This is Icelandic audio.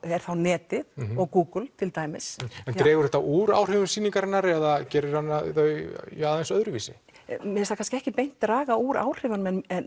er þá netið og Google til dæmis en dregur þetta úr áhrifum sýningarinnar eða gerir þau aðeins öðruvísi mér finnst það ekki beint draga úr áhrifunum en